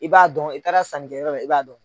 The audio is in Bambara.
I b'a dɔn i taara sankɛ yɔrɔ i b'a dɔn.